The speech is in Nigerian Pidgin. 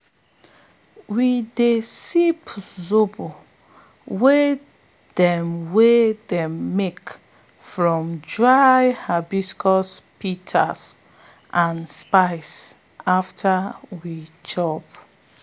we dey sip zobo wey dem wey dem make from dried hibiscus petals and spice after we chop.